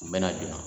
U bɛna jɔ